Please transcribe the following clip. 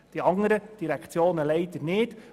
Die anderen Direktionen tun dies leider nicht.